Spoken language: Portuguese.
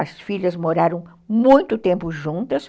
As filhas moraram muito tempo juntas,